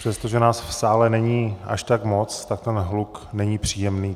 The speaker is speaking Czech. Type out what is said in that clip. Přestože nás v sále není až tak moc, tak ten hluk není příjemný.